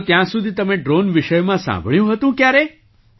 તો ત્યાં સુધી તમે ડ્રૉન વિષયમાં સાંભળ્યું હતું ક્યારેય